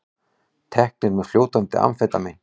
Teknir með fljótandi amfetamín